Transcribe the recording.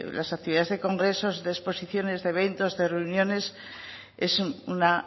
las actividades del congresos de exposiciones de eventos de reuniones es una